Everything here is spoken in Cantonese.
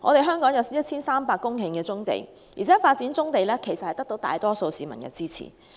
香港有 1,300 公頃棕地，發展棕地得到大多數市民的支持。